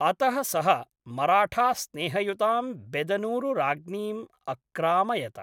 अतः सः मराठास्नेहयुतां बेदनूरुराज्ञीम् अक्रामयत।